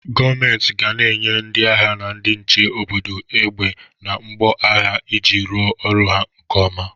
Gọmenti ga na-enye ndị agha na ndị nche obodo egbe na mgbo agha iji rụọ ọrụ ha nke oma.